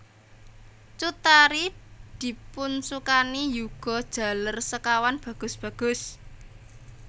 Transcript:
Cut Tari dipunsukani yuga jaler sekawan bagus bagus